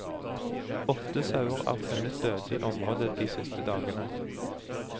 Åtte sauer er funnet døde i området de siste dagene.